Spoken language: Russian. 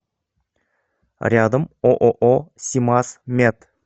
рядом ооо симаз мед